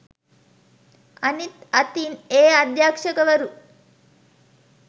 අනිත් අතින් ඒ අධ්‍යක්ෂවරු